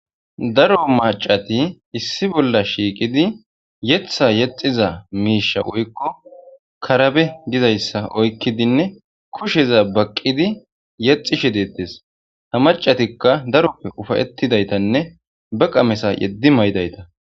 daro macati issi bolla shiiqidi yetha yexiza miisha oykko karabe dizayssa oykkidinne kusheza baqqidi yexishe deettes ha macatikka daroppe ufayetidaytanne baqa mesa yeddi maydayta